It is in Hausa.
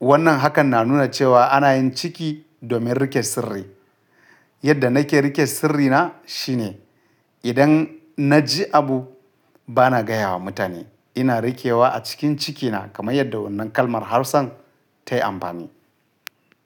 Wannan hakan na nuna cewa ana yin ciki domin rike sirri. Yadda nake rike sirrina shine idan na ji abu bana ga yawa mutane. Ina rikewa a cikin cikina kamar yadda wannan kalmar Hausan ta yi amfani.